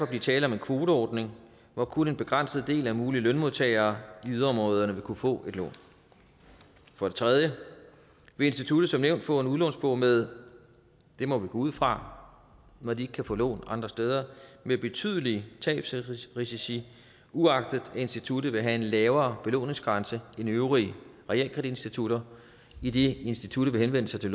blive tale om en kvoteordning hvor kun en begrænset del af mulige lønmodtagere i yderområderne vil kunne få et lån for det tredje vil instituttet som nævnt få en udlånsbog med det må vi gå ud fra når de ikke kan få lån andre steder betydelige tabsrisici uagtet at instituttet vil have en lavere belåningsgrænse end de øvrige realkreditinstitutter idet instituttet vil henvende sig til